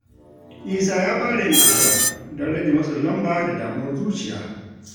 Isa ya fara yin addu’a don rage matsin lamba da damuwar zuciya.